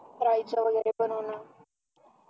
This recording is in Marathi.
डाळीचं वगैरे बनवण